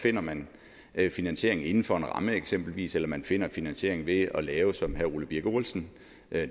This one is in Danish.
finder man finansiering inden for en ramme eksempelvis eller man finder finansiering ved at lave som herre ole birk olesen